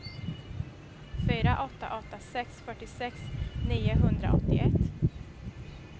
fyra åtta åtta sex fyrtiosex niohundraåttioett